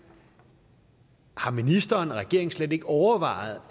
har ministeren og regeringen slet ikke overvejet